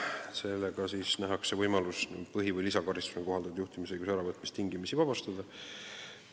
Sellega nähakse ette võimalus põhi- või lisakaristusena kohaldatud juhtimisõiguse äravõtmisest tingimisi vabastada.